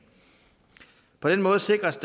på den måde sikres